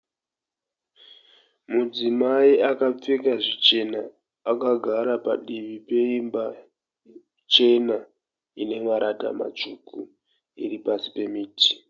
Mudzimai akapfeka zvichena. Akagara padivi peimba chena ine marata matsvuku iri pasi pemiti.